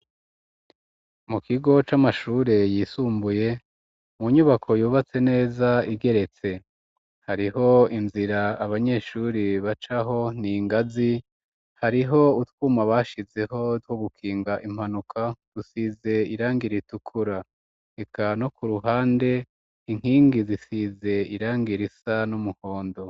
Mu kigo c'amashure yisumbuye mu nyubako yubatse neza igeretse, hariho inzira abanyeshuri bacaho ningazi, hariho utwuma bashizeho two gukinga impanuka dusize irangira ritukura eka no ku ruhande inkingi zisize irangira risa n'umuhondo.